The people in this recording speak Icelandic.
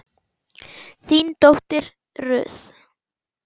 þín dóttir Ruth.